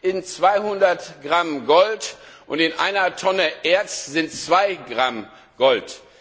sind 200 Gramm Gold und in einer Tonne Erz sind 2 Gramm Gold.